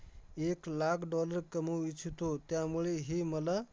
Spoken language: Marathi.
एक लाख dollar कमवू इच्छितो. त्यामुळे ही मला